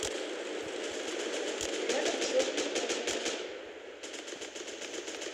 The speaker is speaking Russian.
рядом черное озеро